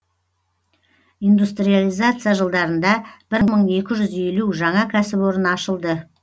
индустриализация жылдарында бір мың екі жүз елу жаңа кәсіпорын ашылды